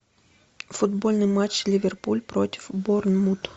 футбольный матч ливерпуль против борнмут